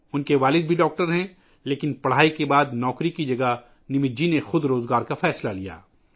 ان کے والد بھی ڈاکٹر ہیں لیکن تعلیم کے بعد نمت جی نے نوکری کے بجائے خود روزگار کا فیصلہ کیا